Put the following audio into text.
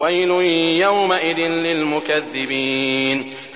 وَيْلٌ يَوْمَئِذٍ لِّلْمُكَذِّبِينَ